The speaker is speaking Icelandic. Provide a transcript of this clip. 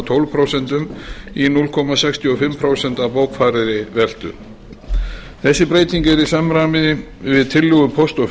tólf prósent í núll komma sextíu og fimm prósent af bókfærðri veltu þess breyting er í samræmi við tillögu póst og